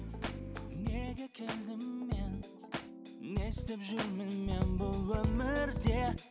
неге келдім мен не істеп жүрмін мен бұл өмірде